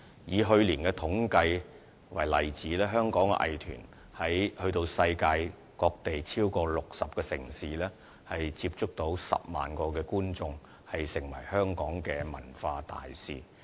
以去年的統計數字為例，香港藝團前往了世界各地超過60個城市，接觸到10萬名觀眾，成為香港的文化大使。